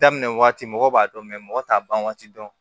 Daminɛ waati mɔgɔ b'a dɔn mɔgɔ t'a ban waati dɔn